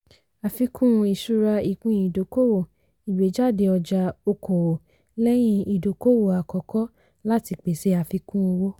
àfikún ìṣura ìpín-ìdókòwò - ìgbéjáde ọjà okòwò lẹ́yìn ìdókòwò àkọ́kọ́ láti pèsè àfikún owó.